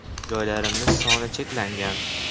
Joylarimiz soni cheklangan.